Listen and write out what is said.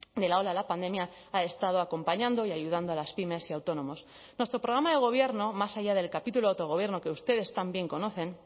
de la ola de la pandemia ha estado acompañando y ayudando a las pymes y autónomos nuestro programa de gobierno más allá del capítulo autogobierno que ustedes también conocen